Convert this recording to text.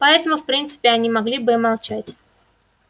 поэтому в принципе они могли бы и молчать